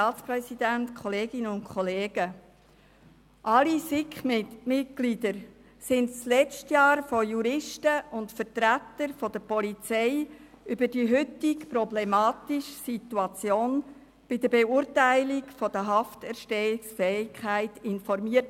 Alle SiK-Mitglieder wurden letztes Jahr von Juristen und Vertretern der Polizei über die heutige, problematische Situation bei der Beurteilung der Hafterstehungsfähigkeit informiert.